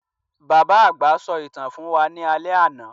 Bàbá àgbà sọ ìtàn fún wa ní alé àná.